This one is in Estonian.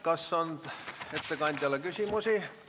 Kas ettekandjale on küsimusi?